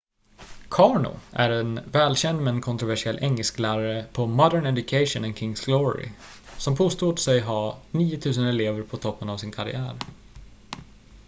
karno är en välkänd men kontroversiell engelsklärare på modern education och king's glory som påstod sig ha 9 000 elever på toppen av sin karriär